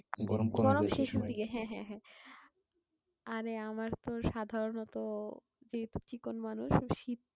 গরম শেষের দিকে হ্যাঁ হ্যাঁ হ্যাঁ। আরে আমার তো সাধারণত যেহেতু চিকন মানুষ শীত